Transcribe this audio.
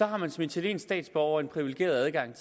har man som italiensk statsborger privilegeret adgang